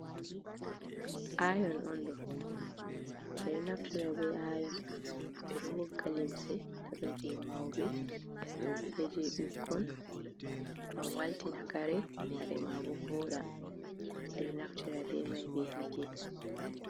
Ayon on ɗo, edo naftira be ayon ɓeɗo wogga limse daga je mauɓe je bikkon ngam walti na kare, kare ma bo voɗa ɓeɗo naftira be mai be hite.